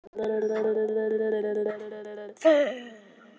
Leibbi, hvernig verður veðrið á morgun?